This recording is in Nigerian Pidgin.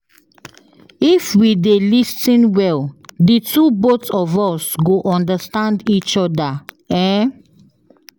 If we dey lis ten well, d two both of us go understand each oda. um